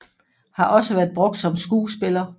Har også været brugt som skuespiller